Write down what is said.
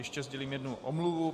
Ještě sdělím jednu omluvu.